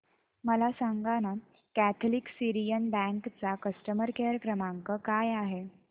मला सांगाना Catholic Syrian bank चा कस्टमर केअर क्रमांक काय आहे